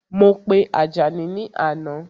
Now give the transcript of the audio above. Mo pe Àjàní ni àná